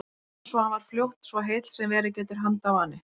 Orms svo hann varð fljótt svo heill sem verið getur handarvani.